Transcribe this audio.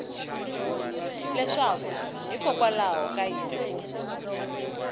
leswaku hikokwalaho ka yini ku